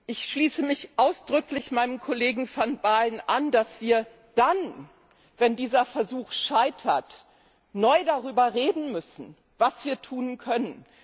Ich schließe mich ausdrücklich meinem Kollegen van Baalen an, dass wir dann, wenn dieser Versuch scheitert, neu darüber reden müssen, was wir tun können.